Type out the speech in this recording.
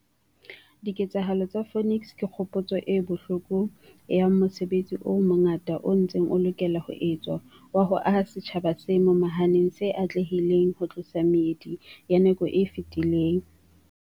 Diketsahalo tsa Phoenix ke kgopotso e bohloko ya mosebetsi o mongata o ntseng o lokela ho etswa wa ho aha setjhaba se momahaneng se atlehileng ho tlosa meedi ya nako e fetileng.